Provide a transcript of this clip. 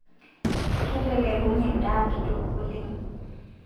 Ketelekunye ndaa kitok oleng